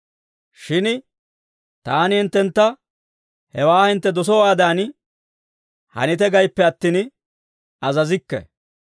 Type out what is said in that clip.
Shin taani hinttentta hewaa hintte dosowaadan hanite gayippe attin, azazikke.